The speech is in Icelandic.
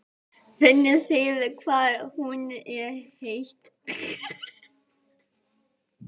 Finnið þið hvað hún er heit?